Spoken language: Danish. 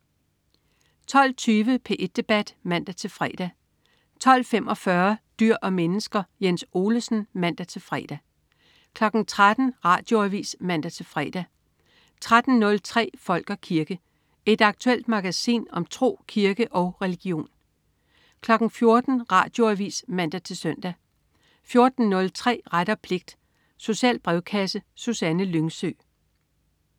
12.20 P1 Debat (man-fre) 12.45 Dyr og mennesker. Jens Olesen (man-fre) 13.00 Radioavis (man-fre) 13.03 Folk og kirke. Et aktuelt magasin om tro, kirke og religion 14.00 Radioavis (man-søn) 14.03 Ret og pligt. Social brevkasse. Susanne Lyngsø